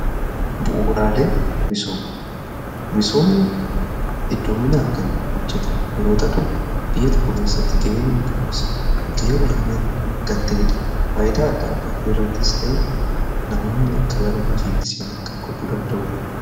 Bu'uraalee misoomni hedduuminaan kan hojjetamu yeroo ta'u biyya tokko keessatti ga'een inni qabus ga'ee olaanaa kan ta'eedha. faayidaa adda addaa irrattis ta'ee namoonni akka gara hojiitti seenan kan godhuu danda'uudha.